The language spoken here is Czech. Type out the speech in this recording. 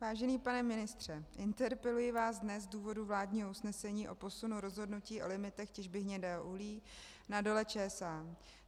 Vážený pane ministře, interpeluji vás dnes z důvodu vládního usnesení o posunu rozhodnutí o limitech těžby hnědého uhlí na Dole ČSA.